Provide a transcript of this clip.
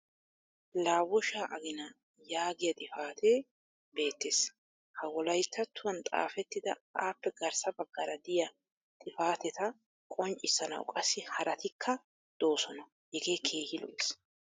laabooshshaa aginaa yaagiya xifatee beetees. ha wolayttattuwan xaafettidi appe garssa bagaara diya xifatetta qonccissanawu qassi haraatikka doosona. hegee keehi lo'ees.